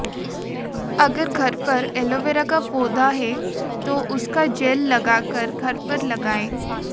अगर घर पर ऐलोवेरा का पौधाहै तो उसका जेल लगाकर घर पर लगाएं